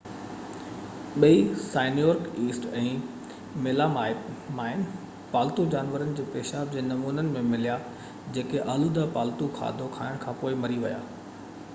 ٻئي cyanuric acid ۽ melamine پالتو جانورن جي پيشاب جي نمونن ۾ مليا جيڪي آلوده پالتو کاڌو کائڻ کان پوءِ مري ويا